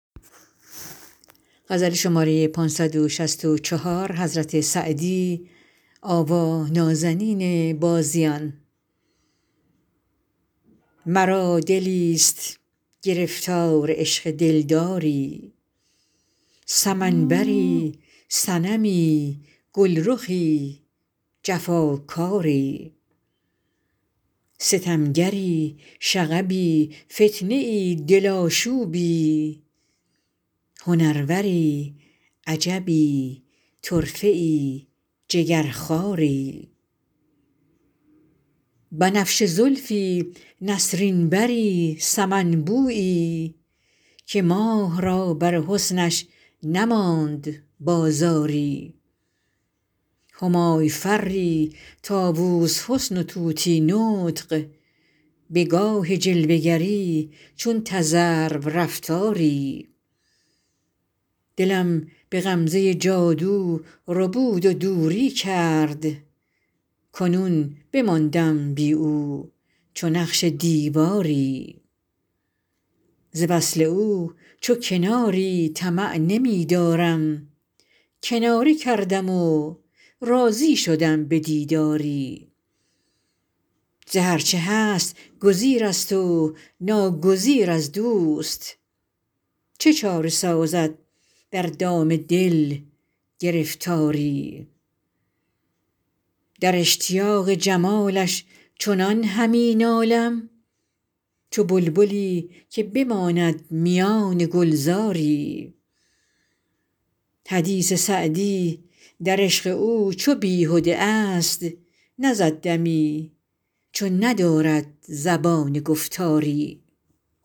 مرا دلیست گرفتار عشق دلداری سمن بری صنمی گلرخی جفاکاری ستمگری شغبی فتنه ای دل آشوبی هنروری عجبی طرفه ای جگرخواری بنفشه زلفی نسرین بری سمن بویی که ماه را بر حسنش نماند بازاری همای فری طاووس حسن و طوطی نطق به گاه جلوه گری چون تذرو رفتاری دلم به غمزه جادو ربود و دوری کرد کنون بماندم بی او چو نقش دیواری ز وصل او چو کناری طمع نمی دارم کناره کردم و راضی شدم به دیداری ز هر چه هست گزیر است و ناگزیر از دوست چه چاره سازد در دام دل گرفتاری در اشتیاق جمالش چنان همی نالم چو بلبلی که بماند میان گلزاری حدیث سعدی در عشق او چو بیهده ا ست نزد دمی چو ندارد زبان گفتاری